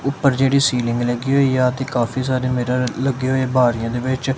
ਉੱਪਰ ਜਿਹੜੀ ਸੀਲਿੰਗ ਲੱਗੀ ਹੋਈ ਆ ਤੇ ਕਾਫੀ ਸਾਰੇ ਮਿਰਰ ਲੱਗੇ ਹੋਏ ਬਾਰਿਆਂ ਦੇ ਵਿੱਚ।